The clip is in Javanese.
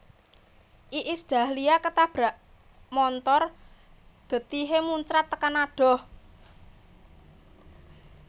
Iis Dahlia ketabrak montor getihe muncrat tekan adoh